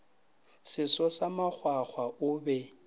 seso sa makgwakgwa o be